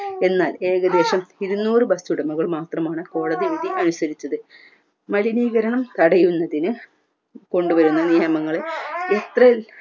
എന്നാൽ ഏകദേശം ഇരുന്നൂറ് bus ഉടമകൾ മാത്രമാണ് കോടതി വിധി അനുസരിച്ചത് മലിനീകരണം തടയുന്നതിന് കൊണ്ടുവരുന്ന നിയമങ്ങളെ ഇത്രയു